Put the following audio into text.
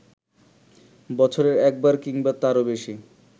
বছরে একবার কিংবা তারও বেশি